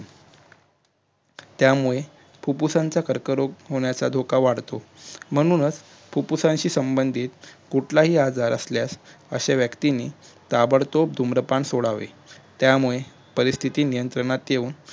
त्यामुळे फुप्फुसांचा कर्करोग होण्याचा धोका वाढतो म्हणुनच फुप्फुसाशी संबंधीत कुठलाही आजार असल्यास अश्या व्यक्तींनी ताबडतो धूम्रपान सोडावे त्यामुळे परिस्थिती नियंत्रणात ठेऊन